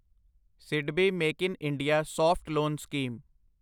SIDBI make in India soft loan scheme